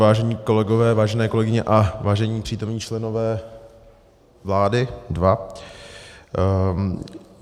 Vážení kolegové, vážené kolegové a vážení přítomní členové vlády, dva.